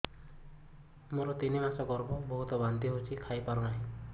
ମୋର ତିନି ମାସ ଗର୍ଭ ବହୁତ ବାନ୍ତି ହେଉଛି କିଛି ଖାଇ ପାରୁନି